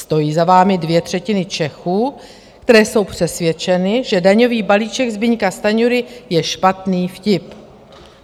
Stojí za vámi dvě třetiny Čechů, které jsou přesvědčeny, že daňový balíček Zbyňka Stanjury je špatný vtip.